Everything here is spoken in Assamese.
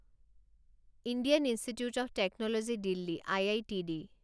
Indian Institute of Technology Delhi I I T D